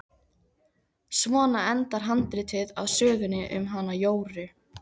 Svona endar handritið að sögunni um hana Jóru.